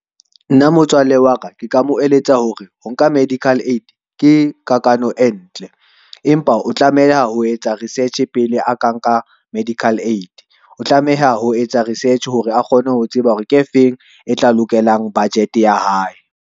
Nna motswalle wa ka, ke ka mo eletsa hore ho nka medical aid ke kakano e ntle. Empa o tlameha ho etsa research pele a ka nka medical aid. O tlameha ho etsa research hore a kgone ho tseba hore ke efeng e tla lokelang budget ya hae.